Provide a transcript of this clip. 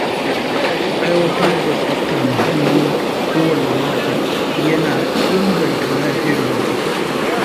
Aiwatar da tsaftar muhalli kowane mako yana inganta lafiyar jama’a.